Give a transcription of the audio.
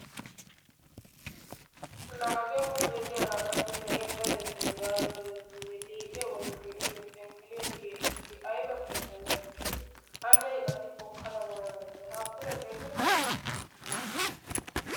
Laa hagee huuphee diyaga qassi na"iya dadettayis gaada dadettooge liiphiya bollan iyo phenqeliya kiyi eqqidi ayiba xeellanaw iiti, anne qassi hokkada waanayidda day ha pude xeellekkee?